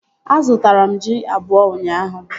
A zụtara m ji abụọ ụnyaahụ